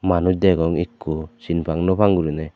manus degong ekko sin pang nopang guriney.